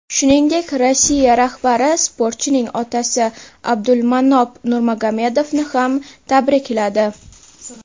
Shuningdek, Rossiya rahbari sportchining otasi Abdulmanop Nurmagomedovni ham tabrikladi.